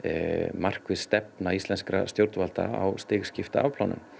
markviss stefna íslenskra stjórnvalda á stigskipta afplánun